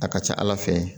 A ka ca ala fɛ